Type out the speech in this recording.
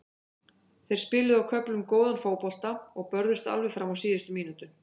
Þeir spiluðu á köflum góðan fótbolta og börðust alveg fram á síðustu mínútu.